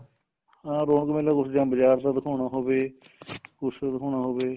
ਹਾਂ ਰੋਣਕ ਮੇਲਾ ਕੁੱਝ ਜਾਂ ਬਾਜਾਰ ਚ ਦਿਖਾਣਾ ਹੋਵੇ ਕੁੱਝ ਦਿਖਾਉਣਾ ਹੋਵੇ